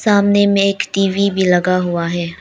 सामने में एक टी_वी भी लगा हुआ है।